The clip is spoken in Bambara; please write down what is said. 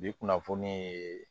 Bi kunnafoni ye